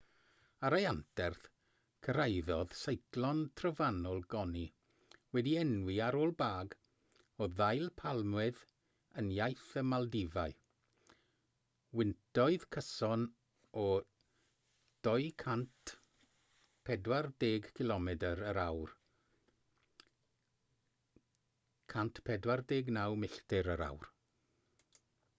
ar ei anterth cyrhaeddodd seiclon trofannol gonu wedi'i enwi ar ôl bag o ddail palmwydd yn iaith y maldifau wyntoedd cyson o 240 cilomedr yr awr 149 milltir yr awr